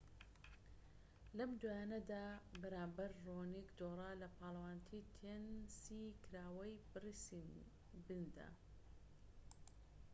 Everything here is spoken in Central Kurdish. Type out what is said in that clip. لەم دواییەدا بەرامبەر ڕۆنیك دۆڕا لە پاڵەوانێتی تێنسی کراوەی بریسبندا